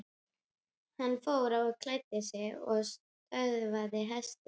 Hann fór og klæddi sig og söðlaði hest.